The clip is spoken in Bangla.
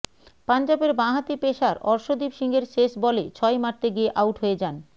পঞ্জাবের বাঁ হাতি পেসার অর্শদীপ সিংয়ের শেষ বলে ছয় মারতে গিয়ে আউট হয়ে যান